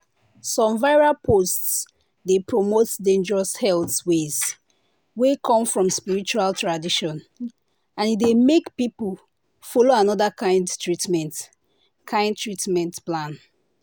some viral posts dey promote dangerous health ways wey come from spiritual tradition and e dey make people follow another kind treatment kind treatment plan.